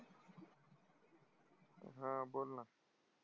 हा बोल ना.